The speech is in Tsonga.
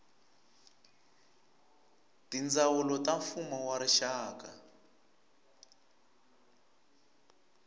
tindzawulo ta mfumo wa rixaka